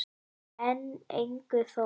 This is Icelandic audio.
En engu þó.